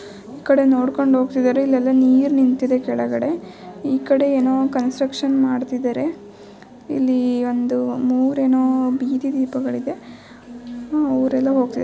ಈ ಕಡೆ ನೋಡ್ಕೊಂಡು ಹೋಗ್ತಿದಾರೆ ಇಲ್ಲೆಲ್ಲಾ ನೀರ್ ನಿಂತಿದೆ ಕೆಳಗಡೆ . ಈ ಕಡೆ ಏನೋ ಕನ್ಸ್ಟ್ರಕ್ಷನ್ ಮಾಡ್ತೀದರೆ ಇಲ್ಲಿ ಒಂದು ಮೂರ್ ಏನೋ ಬಿದಿ ದೀಪಗಳು ಇದೆ. ಅವ್ರೇಲ್ಲೋ ಹೋಗ್ತಿದಾರೆ.